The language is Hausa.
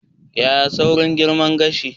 Yaya saurin girma gashi?